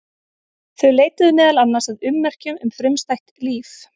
Þau leituðu meðal annars að ummerkjum um frumstætt líf.